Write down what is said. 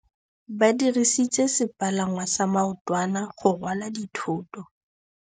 Ba dirisitse sepalangwasa maotwana go rwala dithôtô.